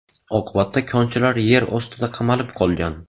Oqibatda konchilar yer ostida qamalib qolgan.